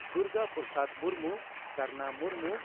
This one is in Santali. ᱫᱩᱨᱜᱟ ᱯᱨᱚᱥᱟᱫᱽ ᱢᱩᱨᱢᱩ ᱠᱟᱨᱱᱟ ᱢᱩᱨᱢᱩ